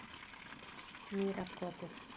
Mýrarkoti